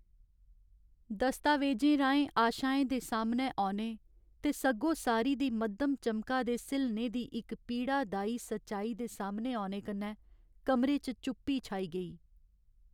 दस्तावेजें राहें आशाएं दे सामनै औने ते सग्गोसारी दी मद्धम चमका दे स्हिलने दी इक पीड़ादाई सचाई दे सामनै औने कन्नै कमरे च चुप्पी छाई गेई।